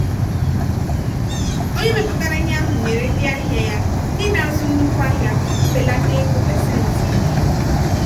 onye mepụtara ihe ahụ nyere ndị ahịa ya ndị na-azụ nnukwu ahịa mbelata ego pasentị iri.